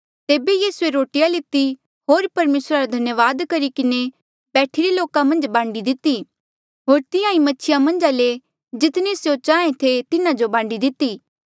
तेबे यीसूए रोटिया लिती होर परमेसरा धन्यावाद करी किन्हें बैठिरे लोका मन्झ बांडी दिती होर तिंहां ईं मछिया मन्झा ले जितनी स्यों चाहें थे तिन्हा जो बांडी दिती